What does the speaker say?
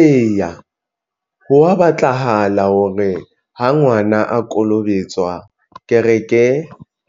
Eya, hwa batlahala hore ha ngwana a kolobetswa, kereke